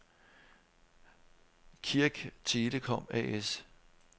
Kirk Telecom A/S